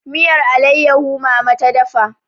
miyar alaiyahu mama ta dafa